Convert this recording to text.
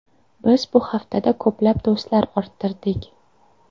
Biz bu haftada ko‘plab do‘stlar orttirdik.